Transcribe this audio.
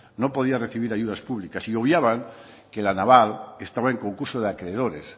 no podía recibir ayudas públicas y obviaban que la naval estaba en concurso de acreedores